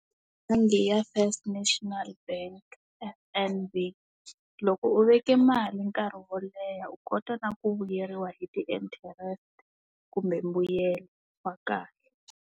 Onge ya First National Bank F_N_B, loko u veke mali nkarhi wo leha u kota na ku vuyeriwa hi ti-interest kumbe mbuyelo wa kahle.